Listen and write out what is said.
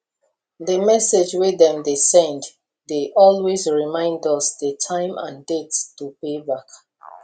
the message wey dem dey send dey always reminds us the time and date to pay back